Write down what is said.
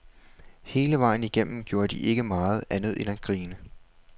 Hele vejen igennem gjorde de ikke andet end at grine.